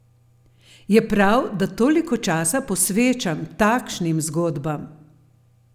Je prav, da toliko časa posvečam takšnim zgodbam?